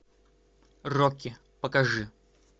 рокки покажи